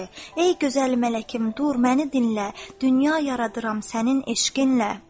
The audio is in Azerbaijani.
Ey gözəl mələkim, dur, məni dinlə, dünya yaradıram sənin eşqinlə!